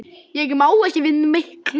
Ég má ekki við miklu.